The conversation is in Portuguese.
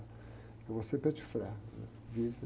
Eu vou ser, né? Vive.